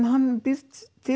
hann býr